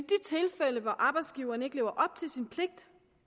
tilfælde hvor arbejdsgiveren ikke lever op til sin pligt